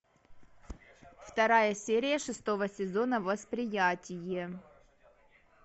вторая серия шестого сезона восприятие